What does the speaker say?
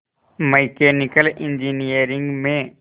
mechanical engineering में